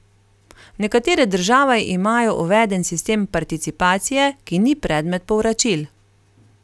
Nekatere države imajo uveden sistem participacije, ki ni predmet povračil.